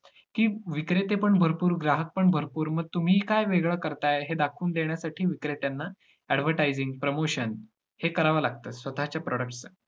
की विक्रेतेपण भरपूर, ग्राहकपण भरपूर मग तुम्ही काय वेगळं करताय, हे दाखवून देण्यासाठी विक्रेत्यांना advertising, promotion हे करावं लागतं. स्वतःचे products चा.